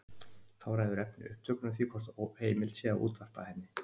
Þá ræður efni upptökunnar því hvort heimilt sé að útvarpa henni.